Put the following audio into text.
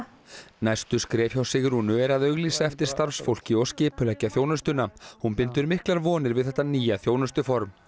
næstu skref hjá Sigrúnu er að auglýsa eftir starfsfólki og skipuleggja þjónustuna hún bindur miklar vonir við þetta nýja þjónustuform